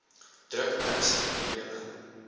druk ernstige probleme